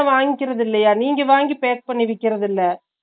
தனியா வாங்கிக்கிறது இல்லயா நீங்க வாங்கி pack பண்ணி விக்கிறது இல்ல ?